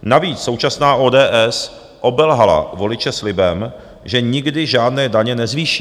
Navíc současná ODS obelhala voliče slibem, že nikdy žádné daně nezvýší.